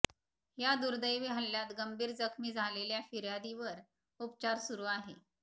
या दुर्दैवी हल्ल्यात गंभीर जखमी झालेल्या फिर्यादीवर उपचार सुरू आहे